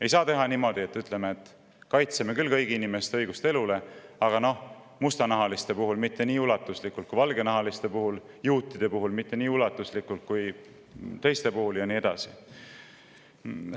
Ei saa olla niimoodi, et me küll ütleme, et kaitseme kõigi inimeste õigust elule, aga mustanahaliste puhul mitte nii ulatuslikult kui valgenahaliste puhul, juutide puhul mitte nii ulatuslikult kui teiste puhul ja nii edasi.